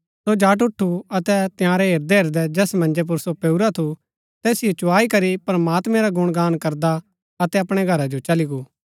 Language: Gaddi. सो झट ऊठु अतै तंयारै हेरदैहेरदै जैस मन्जै पुर सो पैऊरा थू तैसिओ चुआई करी प्रमात्मैं रा गुणगान करदा अपणै घरा जो चली गो